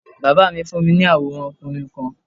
Bàbá mi fún mi ní àwọ̀rán okùnrin kan